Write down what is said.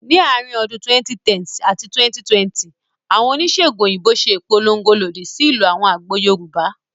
Ní àárín ọdún 2010 àti 2020, àwọn oníṣèègùn òyìnbó ṣe ìpolongo lòdì sí ìlò àwọn àgbo Yorùbá